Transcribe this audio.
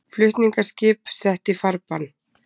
Flutningaskip sett í farbann